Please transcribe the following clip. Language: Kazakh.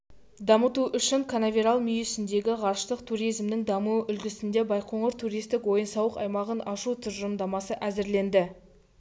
дамыту үшін канаверал мүйісіндегі ғарыштық туризмнің дамуы үлгісінде байқоңыр туристік ойын-сауық аймағын ашу тұжырымдамасы әзірленді